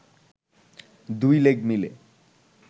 দুই লেগ মিলে